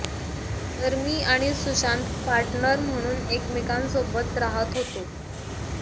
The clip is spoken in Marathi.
तर मी आणि सुशांत पार्टनर म्हणून एकमेकांसोबत राहत होतो